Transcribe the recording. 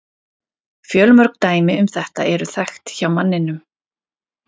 Fjölmörg dæmi um þetta eru þekkt hjá manninum.